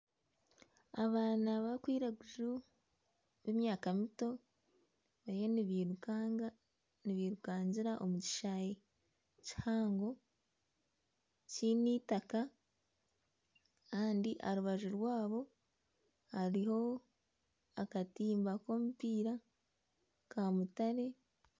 Abaana b'abiraguju b'emyaka mito bariyo nibirukanga nibirukangira omu kishayi kihango kiine itaka Kandi aharubaju rwaabo hariho akatimba k'omupiira ka mutare.